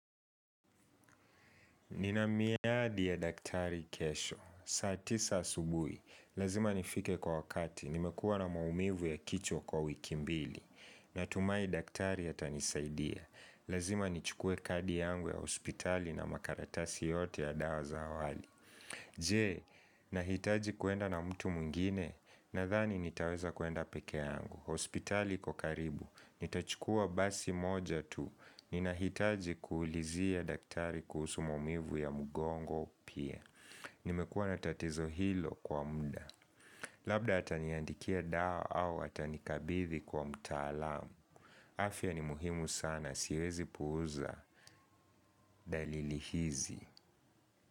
Nina miadi ya daktari kesho. Saa tisa asubui. Lazima nifike kwa wakati. Nimekuwa na maumivu ya kichwa kwa wiki mbili. Natumai daktari a tanisaidia. Lazima nichukue kadi yangu ya hospitali na makaratasi yote ya dawa zaawali. Je, nahitaji kwenda na mtu mwngine na thani nitaweza kuenda pekee yangu hospitali iko karibu, nitachukua basi moja tu Ninahitaji kuulizia daktari kuhusu maumivu ya mugongo pia Nimekua natatizo hilo kwa muda Labda hataniandikia dawa au hatani kabithi kwa mtaalam afya ni muhimu sana, siwezi puuza dalili hizi.